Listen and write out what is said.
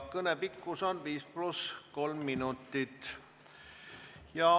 Kõne pikkus on 5 + 3 minutit.